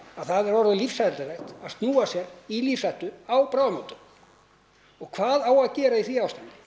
að það er orðið lífshættulegt að snúa sér í lífshættu á bráðamóttöku og hvað á að gera í því ástandi